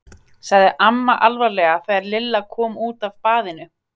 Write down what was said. sagði amma alvarleg þegar Lilla kom út af baðinu.